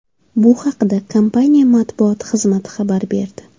Bu haqda kompaniya matbuot xizmati xabar berdi .